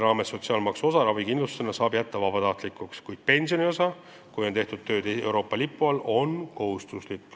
Sotsiaalmaksu ravikindlustuse osa maksmise saab jätta vabatahtlikuks, kuid kohustuslik on maksta pensionikindlustuse osa, kui tööd on tehtud Euroopa Liidu lipu all.